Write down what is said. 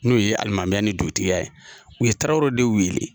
N'o ye alimamuya ni dugutigiya ye u ye tarawele